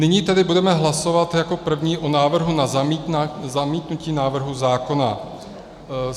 Nyní tedy budeme hlasovat jako první o návrhu na zamítnutí návrhu zákona.